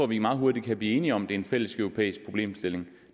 vi meget hurtigt kan blive enige om at det er en fælleseuropæisk problemstilling